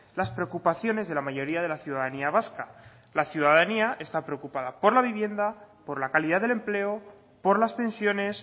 las preocupaciones de la mayoría de la ciudadanía vasca la ciudadanía está preocupada por la vivienda por la calidad del empleo por las pensiones